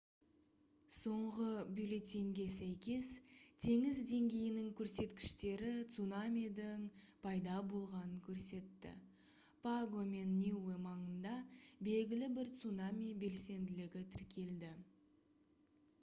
соңғы бюллетеньге сәйкес теңіз деңгейінің көрсеткіштері цунамидің пайда болғанын көрсетті паго мен ниуэ маңында белгілі бір цунами белсенділігі тіркелді